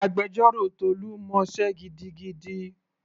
Agbẹjọ́rò Tolu mọ sé gidigidi.